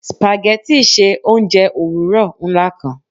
Spaghetti ṣe ounjẹ owurọ nla kan